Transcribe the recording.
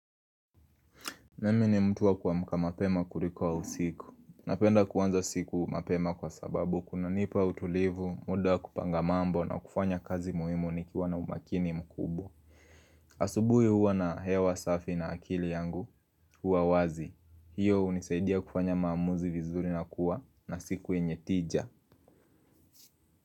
Mimi ni mtu wa kuamka mapema kuliko usiku. Napenda kuanza usiku mapema kwa sababu kunanipa utulivu, muda wa kupanga mambo na kufanya kazi muhimu nikiwa na umakini mkubwa. Asubuhi huwa na hewa safi na akili yangu huwa wazi. Hiyo hunisaidia kufanya maamuzi vizuri na kuwa na siku yenye tija.